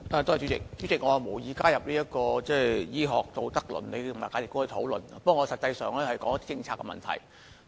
主席，我無意加入醫學道德倫理和價值觀的討論，但我想談論政策的問題。